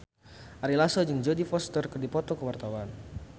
Ari Lasso jeung Jodie Foster keur dipoto ku wartawan